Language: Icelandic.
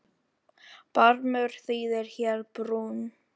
Barmur þýðir hér brún.